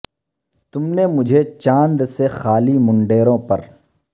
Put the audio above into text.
تم نے مجھے چاند سے خالی منڈیرو ں پر